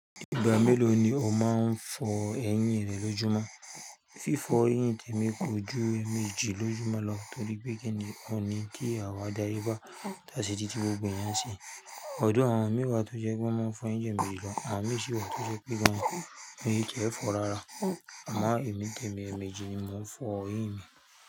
Ìgbà mélòó ni o máa ń fọ eyín rẹ lójúmọ́? Fífọ eyín tèmi kò ju ẹẹmejì lójúmọ́ lọ torí pé kíni ọ̀un ní kí àwa daye bá, tàá ṣi títí gbogbo ìyẹn ṣi. Although àwọn mìí wa tó jẹ́ pé wọ́n máa ń fọ eyín ju ẹméjì lọ, àwọn mì sì wà tó jẹ́ pé wọ́n ò tí ẹ́ fọ rárá. Àmọ́ èmi, tèmi èèmejì ni mò ń fọ eyín mi.